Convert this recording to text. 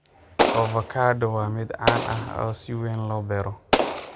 Avocado waa midho caan ah oo si weyn loo beero.